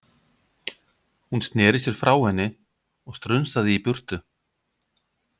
Hún sneri sér frá henni og strunsaði í burtu.